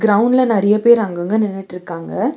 கிரவுண்ட்ல நெறைய பேர் அங்கங்க நின்னுற்க்காங்க.